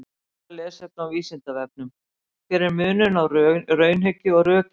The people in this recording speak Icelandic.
Frekara lesefni á Vísindavefnum: Hver er munurinn á raunhyggju og rökhyggju?